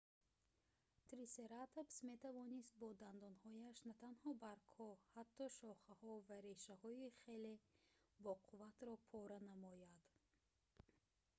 трисератопс метавонст бо дандонҳояш натанҳо баргҳо ҳатто шохаҳо ва решаҳои хеле боқувватро пора намояд